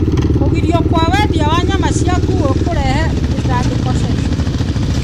Kũgirio kwa wendia wa nyama cia nguo kũrehe gũtangĩka China.